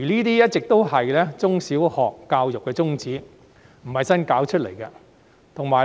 這一直是中小學教育的宗旨，並非新事物。